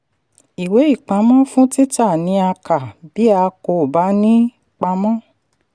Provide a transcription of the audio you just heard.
ìwé ìpamọ́ fún títà ni a kà bí a kò bá ní í pa mọ́.